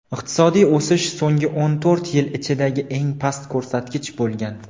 Iqtisodiy o‘sish so‘nggi o‘n to‘rt yil ichidagi eng past ko‘rsatkich bo‘lgan.